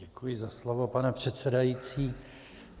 Děkuji za slovo, pane předsedající.